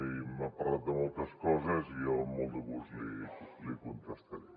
i m’ha parlat de moltes coses i jo amb molt de gust les hi contestaré